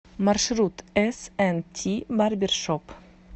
маршрут эс энд ти барбершоп